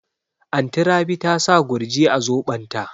Anty Rabi ta sa Gurji a zobon ta